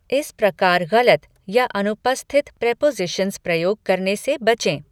इस प्रकार गलत या अनुपस्थित प्रेपोज़िशन्स प्रयोग करने से बचें।